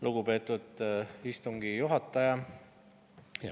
Lugupeetud istungi juhataja!